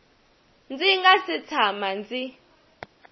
ndzi nga si tshama ndzi